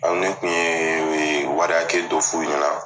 Aw ne kun ye wari hakɛ dɔ f'u ɲɛna.